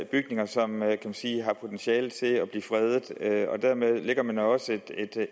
bygninger som man kan sige har potentiale til at blive fredet og dermed skaber man også